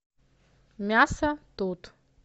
мясо тут